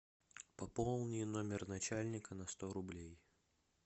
пополни номер начальника на сто рублей